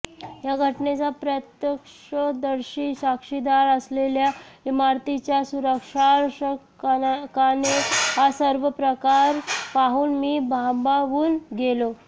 या घटनेचा प्रत्यक्षदर्शी साक्षीदार असलेल्या इमारतीच्या सुरक्षारक्षकाने हा सर्व प्रकार पाहून मी भांबावून गेलो